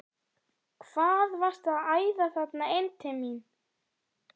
HVAÐ VARSTU AÐ ÆÐA ÞETTA INN TIL MÍN!